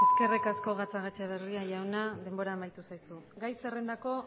eskerrik asko gatzagaetxebarria jauna denbora amaitu zaizu gai zerrendako